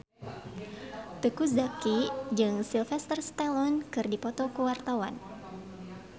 Teuku Zacky jeung Sylvester Stallone keur dipoto ku wartawan